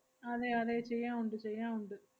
അതെയതെ ചെയ്യാ~ ഉണ്ട് ചെയ്യാ~ ഉണ്ട്.